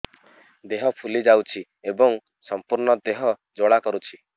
ଦେହ ଫୁଲି ଯାଉଛି ଏବଂ ସମ୍ପୂର୍ଣ୍ଣ ଦେହ ଜ୍ୱାଳା କରୁଛି